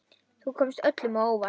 Þú komst öllum á óvart.